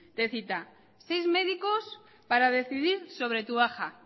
te cita seis médicos para decidir sobre tu baja